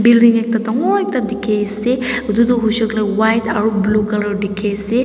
building ekta dangor ekta dikhi ase itudu huishe koile white aru blue colour dikhi ase.